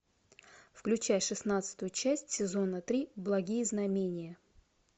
включай шестнадцатую часть сезона три благие знамения